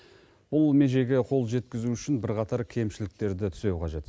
бұл межеге қол жеткізу үшін бірқатар кемшіліктерді түзеу қажет